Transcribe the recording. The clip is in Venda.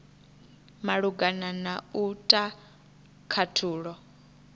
malugana na u ta khathulo